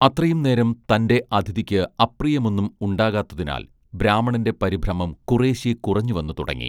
അത്രയും നേരം തന്റെ അതിഥിയ്ക്ക് അപ്രിയമൊന്നും ഉണ്ടാകാത്തതിനാൽ ബ്രാഹ്മണന്റെ പരിഭ്രമം കുറേശ്ശെ കുറഞ്ഞുവന്നു തുടങ്ങി